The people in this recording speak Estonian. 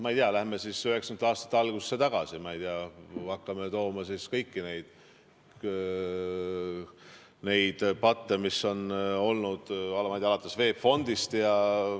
Ma ei tea, lähme siis üheksakümnendate aastate algusesse tagasi, hakkame tooma välja kõiki neid patte, mis on olnud, alates VEB Fondist.